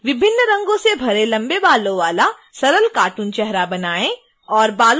विभिन्न रंगों से भरे लंबे बालों वाला सरल कार्टून चेहरा बनाएं